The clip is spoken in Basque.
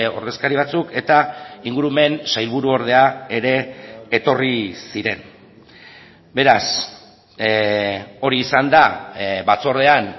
ordezkari batzuk eta ingurumen sailburuordea ere etorri ziren beraz hori izan da batzordean